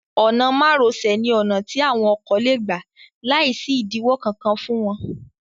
Ọ̀nà mároṣẹ̀ ní ọ̀nà tí àwọn ọkọ lé gbà láìsí ìdíwọ́ kankan fún wọn.